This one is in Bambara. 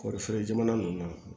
Kɔɔrifeere jamana ninnu na